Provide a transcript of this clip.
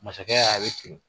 Masakɛ y'a ye a bɛ